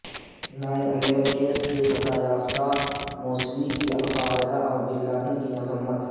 nine eleven case کے سزا یافتہ موسوی کی القاعدہ اور بن لادن کی مذمت